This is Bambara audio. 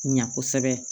Ɲa kosɛbɛ